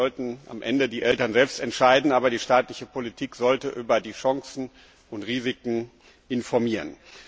Das sollten am Ende die Eltern selbst entscheiden, aber die staatliche Politik sollte über die Chancen und Risiken informieren.